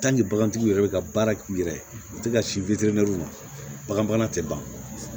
bagantigiw yɛrɛ bɛ ka baara k'u yɛrɛ ye u tɛ ka si makanna tɛ ban